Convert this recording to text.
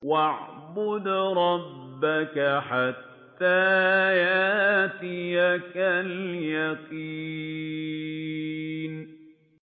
وَاعْبُدْ رَبَّكَ حَتَّىٰ يَأْتِيَكَ الْيَقِينُ